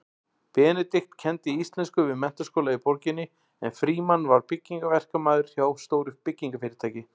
Benedikt kenndi íslensku við menntaskóla í borginni en Frímann var byggingaverkamaður hjá stóru byggingarfyrirtæki.